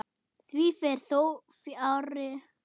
Því fer þó fjarri.